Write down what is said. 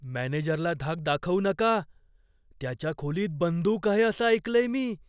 मॅनेजरला धाक दाखवू नका. त्याच्या खोलीत बंदूक आहे असं ऐकलंय मी.